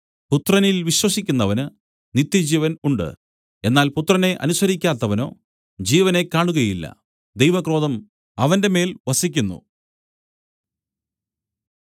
പുത്രനിൽ വിശ്വസിക്കുന്നവന് നിത്യജീവൻ ഉണ്ട് എന്നാൽ പുത്രനെ അനുസരിക്കാത്തവനോ ജീവനെ കാണുകയില്ല ദൈവക്രോധം അവന്റെമേൽ വസിക്കുന്നു